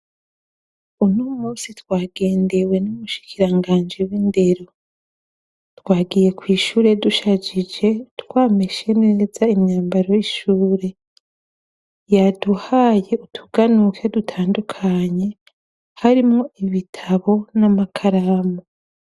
Unomusi twagendewe numushikirangaji w'indero. Twagiye kwishure dushajije twameshe neza imyambaro yishure. Yaduhaye utuganuke dutandukanye harimwo ibitabo n'amakaramu.